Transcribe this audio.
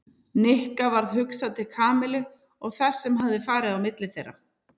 Nikka varð hugsað til Kamillu og þess sem hafði farið á milli þeirra.